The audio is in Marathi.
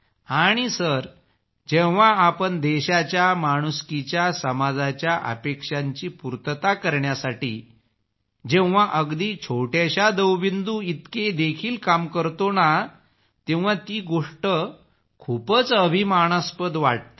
आणि सर जेव्हा आपण देशाच्या माणुसकीच्या समाजाच्या अपेक्षांची पूर्तता करण्यासाठी जेव्हा अगदी छोट्याश्या दवबिंदू इतके देखील काम करतो तेव्हा मी गोष्ट खूपच अभिमानस्पद असते